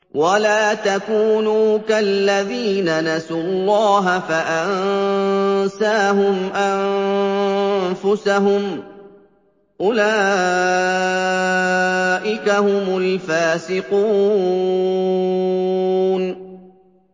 وَلَا تَكُونُوا كَالَّذِينَ نَسُوا اللَّهَ فَأَنسَاهُمْ أَنفُسَهُمْ ۚ أُولَٰئِكَ هُمُ الْفَاسِقُونَ